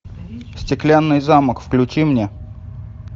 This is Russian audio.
стеклянный замок включи мне